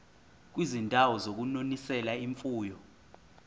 kwizindawo zokunonisela imfuyo